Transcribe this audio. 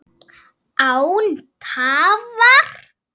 Án tafar!